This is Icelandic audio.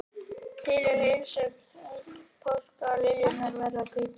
Til er helgisögn sem segir að eitt sinn hafi páskaliljurnar verið hvítar.